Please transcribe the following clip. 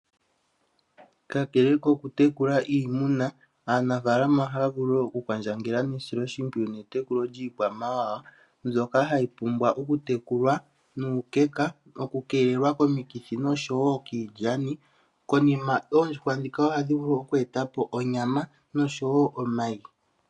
Kakele koku tekula iimuna, aanafaalama ohaya kwandjangele nesilo shimpwiyu netekulo lyiikwamawawa mbyoka hayi pumbwa oku tekulwa nuukeka, oku keelelwa komikithi noshowo kiilyani. Konima oondjuhwa ndhika ohadhi vulu oku eta po onyama noshowo omayi.